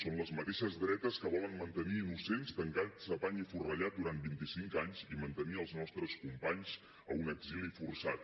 són les mateixes dretes que volen mantenir innocents tancats a pany i forrellat durant vint i cinc anys i mantenir els nostres companys en un exili forçat